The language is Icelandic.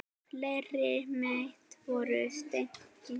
Fleiri met voru slegin.